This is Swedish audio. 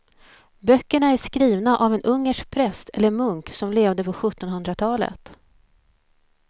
Böckerna är skrivna av en ungersk präst eller munk som levde på sjuttonhundratalet.